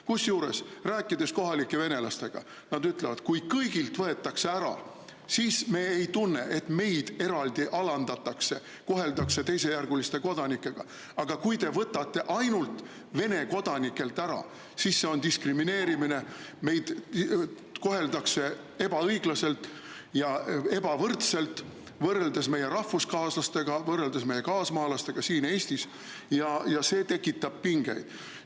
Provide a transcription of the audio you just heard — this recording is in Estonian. Kusjuures, rääkides kohalike venelastega, nad ütlevad, et kui kõigilt võetakse ära, siis nad ei tunne, et neid eraldi alandatakse, koheldakse teisejärgulistena, aga kui võetakse ainult Vene kodanikelt ära, siis see on diskrimineerimine, neid koheldakse ebaõiglaselt ja ebavõrdselt, võrreldes rahvuskaaslastega, võrreldes meie kaasmaalastega siin Eestis, ja see tekitab pingeid.